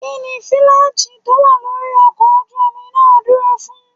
Kínní fílágì tó wà lórí ọkọ̀ ojú omi náà dúró fún?